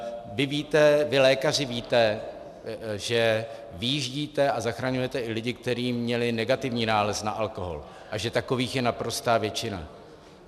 Vy lékaři víte, že vyjíždíte a zachraňujete i lidi, kteří měli negativní nález na alkohol, a že takových je naprostá většina.